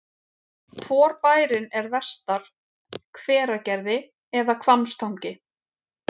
Hvor bærinn er vestar, Hveragerði eða Hvammstangi?